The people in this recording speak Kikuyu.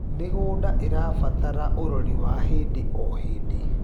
Mĩgũnda ĩrabatara ũrorĩ wa hĩndĩ o hĩndĩ